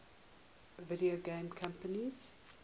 video game companies